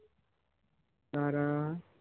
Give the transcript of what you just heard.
তারা